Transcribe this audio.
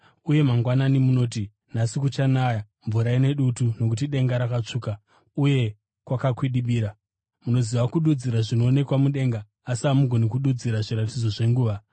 Uye mangwanani munoti, ‘Nhasi kuchanaya mvura ine dutu nokuti denga rakatsvuka uye kwakakwidibira.’ Munoziva kududzira zvinoonekwa mudenga, asi hamugoni kududzira zviratidzo zvenguva.